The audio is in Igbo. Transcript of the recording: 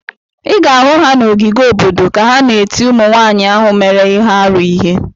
Ị ga-ahụ ha na ogige obodo ka ha na-eti ụmụnwaanyị ahụ mere ihe arụ ihe.